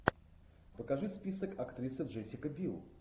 покажи список актриса джессика бил